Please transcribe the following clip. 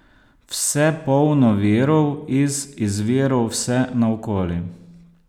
Vse polno virov iz izvirov vse naokoli!